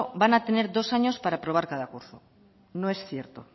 van a tener dos años para aprobar cada curso no es cierto